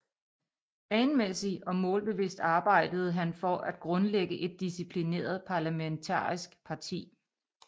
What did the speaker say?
Planmæssig og målbevidst arbejdede han for at grundlægge et disciplineret parlamentarisk parti